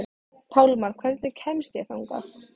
Pálmar, hvernig kemst ég þangað?